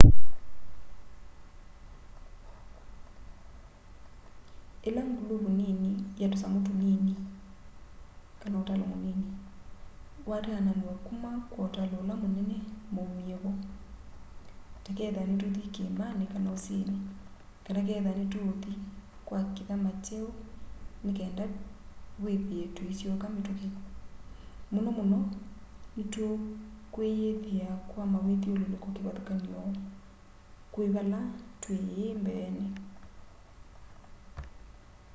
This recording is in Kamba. ila nguluvu nini ya tusamu tunini utalo munini wataananw'a kuma kwa utalo ula munene maumie vo ta kethwa nituuthi kiimani kana usini kana kethwa nituuthi kwa kithama kyeu nikenda withie tuisyoka mituki muno muno nitukwiyithia kwa mawithyululuko kivathukany'o kwi vala twi ii mbeeni